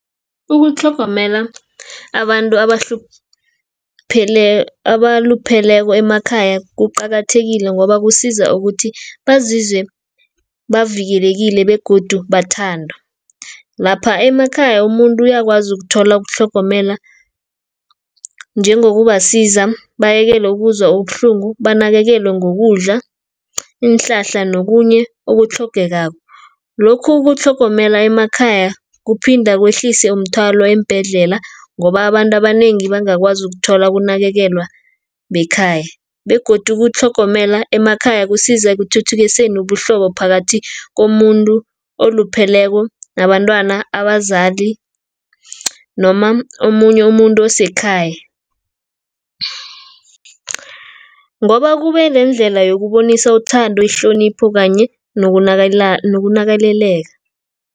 Ukutlhogomela abantu abalupheleko emakhaya, kuqakathekile ngoba kusiza ukuthi, bazizwe bavikelekile begodu bathandwa. Lapha emakhaya umuntu uyakwazi ukuthola ukutlhogomela njengokubasiza, abayekele ukuzwa ubuhlungu, banakekelwe ngokudla, iinhlahla nokunye okutlhogekako. Lokhu ukutlhogomela emakhaya, kuphinda kwehlise umthwalo eembhedlela, ngoba abantu abanengi bangakwazi ukuthola ukunakekelwa ekhaya, begodu ukutlhogomela emakhaya kusiza ekuthuthukiseni ubuhlobo phakathi komuntu olupheleko nabantwana, abazali, noma omunye umuntu asekhaya. Ngoba kube neendlela yokubonisa uthando, ihlonipho kanye nokunakeleleka.